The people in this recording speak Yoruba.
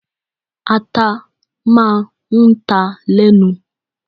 Ata máa ń ta lẹ́nu.